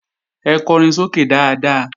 Ẹ kọrin sókè dáadáa!